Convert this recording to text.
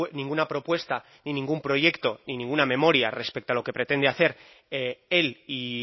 ninguna propuesta ni ningún proyecto ni ninguna memoria respecto a lo que pretende hacer él y